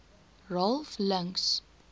ralph links